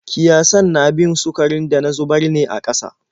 Kiyasan na bin sukarin da na zubar ne a ƙasa.